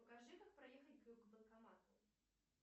покажи как проехать к банкомату